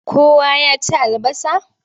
Kowa ya ci albasa?